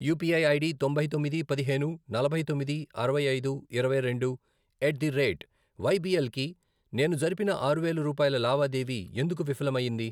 UPI ID తొంభై తొమ్మిది, పదిహేను, నలభై తొమ్మిది, అరవై ఐదు, ఇరవై రెండు, ఎట్ ది రేట్ వైబీఎల్ కి నేను జరిపిన ఆరు వేలు రూపాయల లావాదేవీ ఎందుకు విఫలం అయ్యింది?